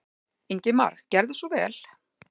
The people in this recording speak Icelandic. Ingimar gerðu svo vel.